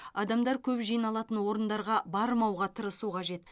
адамдар көп жиналатын орындарға бармауға тырысу қажет